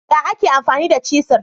Ya ake amfani cisir?